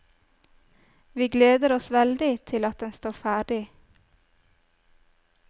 Vi gleder oss veldig til at den står ferdig.